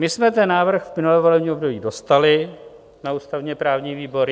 My jsme ten návrh v minulém volebním období dostali na ústavně-právní výbor.